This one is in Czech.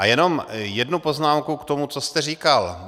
A jenom jednu poznámku k tomu, co jste říkal.